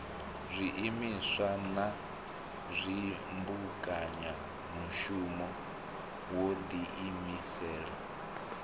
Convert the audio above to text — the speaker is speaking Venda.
zwiimiswa na dzimbekanyamushumo wo ḓiimisela